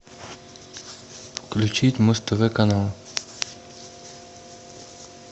включить муз тв канал